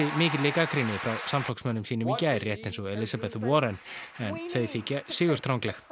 mikilli gagnrýni frá samflokksmönnum sínum gær rétt eins og Elizabeth Warren en þau þykja sigurstrangleg